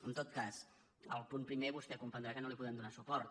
en tot cas al punt primer vostè ha de comprendre que no hi podem donar suport